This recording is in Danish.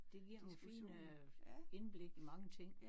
Det giver nogle fine indblik i mange ting